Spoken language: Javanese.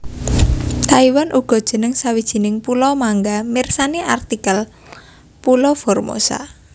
Taiwan uga jeneng sawijining pulo mangga mirsani artikel pulo Formosa